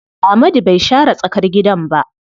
Amadu bai share tsakar gidan ba.